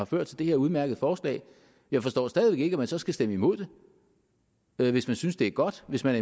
ført til det her udmærkede forslag jeg forstår stadig ikke at man så skal stemme imod det hvis man synes det er godt hvis man